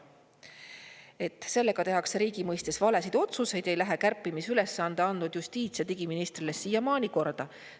Et sellega tehakse riigi mõistes valesid otsuseid, ei lähe kärpimisülesande andnud justiits‑ ja digiministrile siiamaani korda.